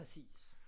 Præcis